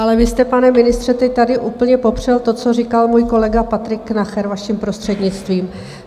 Ale vy jste, pane ministře, teď tady úplně popřel to, co říkal můj kolega Patrik Nacher, vaším prostřednictvím.